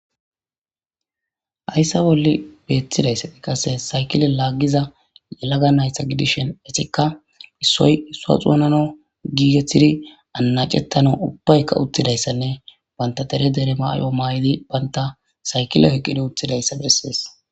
Hayssa bolli beettidayssati qasse sayikile laaggiza yelaga nayta gudishin etikka issoy issuwa xoonanawu giigetidi annacetanaw ubbaykka uttidayssanne banta dere dere mayo maayidi banta sayikile oyiqqidi uttudayssa besses